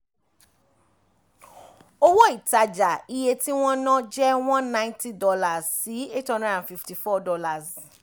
owó ìtajà - iye tí wọ́n ná jẹ́ one ninety dollars si eight hundred and fifty four dollars